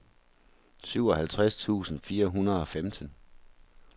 syvoghalvtreds tusind fire hundrede og femten